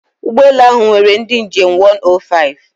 Ụgbọ elu ahụ nwere ndị njem 105